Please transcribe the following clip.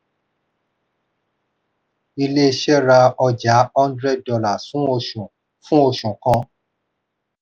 ilé iṣẹ́ ra ọjà hundred dollars fún oṣù fún oṣù kan.